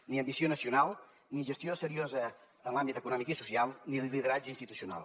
ni ambició nacional ni gestió seriosa en els àmbits econòmic i social ni lideratge institucional